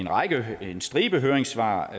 en stribe høringssvar